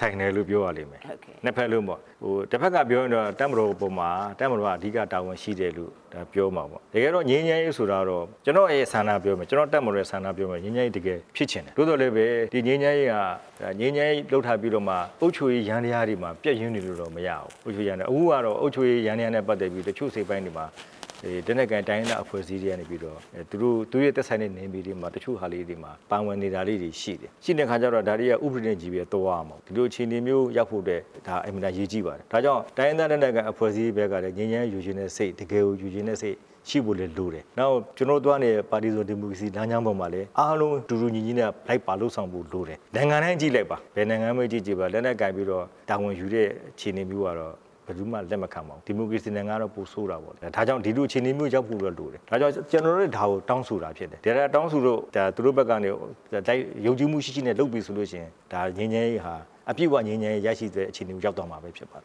ဆိုင်တယ်လို့ပြောရလိမ့်မယ်။ တဘက်ကပြောရင်တော့ တပ်မတော်ပေါ်မှာ အဓိကတာဝန်ရှိတယ်လို့ပြောမှာပေါ့။ တကယ်တော့ ငြိမ်းချမ်းရေးဆိုတာကတော့ ကျနော့်ရဲ့ဆန္ဒပြောမယ် ကျနော့်တပ်မတော်ရဲ့ဆန္ဒပြောမယ်။ ငြိမ်းချမ်းရေးတကယ်ဖြစ်ချင်တယ်။ သို့သော်လည်းပဲ ဒီငြိမ်းရေးဟာ ငြိမ်းချမ်းရေးလုပ်ထားပြီးတော့မှ အုပ်ချုပ်ရေးယန္တရားမှာ ပျက်ယွင်းနေလို့တော့မရဘူး။ အခုကတော့ အုပ်ချုပ်ရေးယန္တရားနဲ့ ပတ်သက်ပြီး တချို့အစိတ်အပိုင်းတွေမှာ လက်နက်ကိုင်တိုင်းရင်းသား အဖွဲ့အစည်းတွေက သူတို့နဲ့သက်ဆိုင်တဲ့နယ်မြေတွေမှာ တချို့ဟာလေးတွေ ပါဝင်နေတာလေးတွေရှိတယ်။ ရှိနေတဲ့အခါကျတော့ ဒီတွေက ဥပဒေနဲ့ ကြည့်ပြီးသွားရမှာပေါ့။ ဒီလိုအခြေအနေမျိုးရောက်ဖို့အတွက် ဒါအင်မတန်အရေးကြီးပါတယ်။ ဒါကြောင့် တိုင်းရင်းသားလက်နက်ကိုင်အဖွဲ့အစည်းတွေဘက်ကလည်း ငြိမ်းချမ်းရေးယူချင်တဲ့စိတ် တကယ်ကို ယူချင်တဲ့စိတ်ရှိဖို့လည်းလိုတယ်။ နောက်ကျနော်တို့သွားနေတဲ့ ပါတီစုံဒီမိုကရေစီလမ်းကြောင်းပေါ်မှာလည်း အားလုံးတူတူညီညီနဲ့လိုက်ပါလုပ်ဆောင်ဖို့လိုတယ်။ နိုင်ငံတိုင်းကြည့်လိုက်ပါ။ဘယ်နိုင်ငံပဲကြည့်ကြည့်လ က်နက်ကိုင်ပြီးတာဝန်ယူတဲ့ အခြေနေမျိုးကတော့ ဘယ်သူမှလက်မခံဘူး။ ဒီမိုကရေစီနိုင်ငံကတော့ ပိုဆိုးတာပေါ့။ ဒါကြောင့် ဒီလိုအခြေနေမျိုးရောက်ဖို့လိုတယ်။ ဒါကြောင့် ကျနော်တို့လည်းဒါကိုတောင်းဆိုတာဖြစ်တယ်။ တောင်းဆို လို့ သူတို့ဘက်ကနေပြီးတော့ ယုံကြည်မှုရှိရှိနဲ့ လုပ်ပြီဆိုလို့ရှိရင် ဒါငြိမ်းချမ်းရေးဟာ အပြည့်အဝငြိမ်းချမ်းရေး ရရှိဆဲအခြေအနေကို ရောက်သွားမှာဖြစ်ပါတယ်။